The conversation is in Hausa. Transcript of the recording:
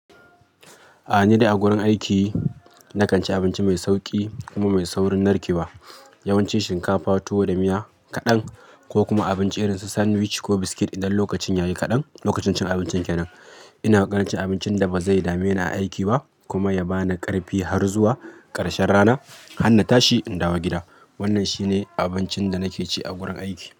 Ai ni dai a gurin aiki na kan ci abinci mai sauƙi kuma mai saurin narkewa. Yawanci shinkafa, tuwo da miya kaɗan ko kuma abinci irin su sandwich ko biscuit idan lokacin yayi kaɗan. Lokacin cin abincin kenan, ina kan cin abincin da bazai dame ni a aiki ba kuma ya bani ƙarfi har zuwa ƙarshen rana. Hanna tashi in dawo gida. Wannan shine abincin da nake ci a gurin aiki.